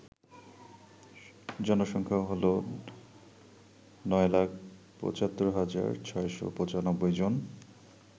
জনসংখ্যা হল ৯৭৫৬৯৫ জন